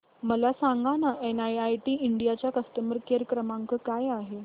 मला सांगाना NIIT India चा कस्टमर केअर क्रमांक काय आहे